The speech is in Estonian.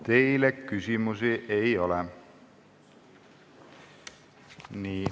Teile küsimusi ei ole.